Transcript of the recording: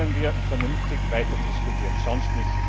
Dann können wir vernünftig weiter diskutieren, sonst nicht.